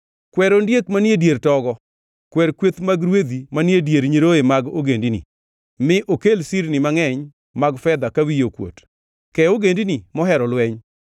Kwer ondiek manie dier togo, kwer kweth mag rwedhi manie dier nyiroye mag ogendini. Mi okel sirni mangʼeny mag fedha ka wiye okuot. Ke ogendini mohero lweny.